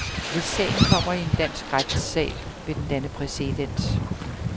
Hvis sagen kommer i en dansk retssal, vil den danne præcedens.